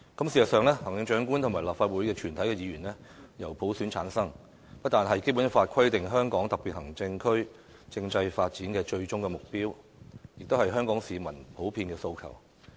事實上，行政長官與立法會全體議員均由普選產生，不單是《基本法》規定香港特別行政區政制發展的最終目標，也是香港市民普遍的訴求。